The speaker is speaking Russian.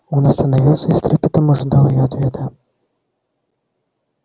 он остановился и с трепетом ожидал её ответа